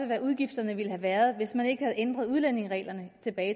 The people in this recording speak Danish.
hvad udgifterne ville have været hvis man ikke havde ændret udlændingereglerne tilbage